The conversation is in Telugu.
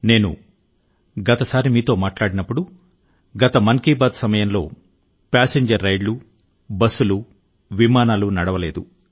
నేను చివరి సారి మీతో మాట్లాడినప్పుడు గత మన్ కీ బాత్ సమయంలో ప్యాసింజర్ రైళ్లు బస్సులు విమానాలు నడవలేదు